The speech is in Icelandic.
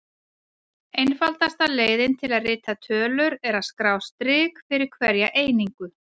Einfaldasta leiðin til að rita tölur er að skrá strik fyrir hverja einingu.